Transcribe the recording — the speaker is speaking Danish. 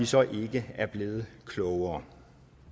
så ikke er blevet klogere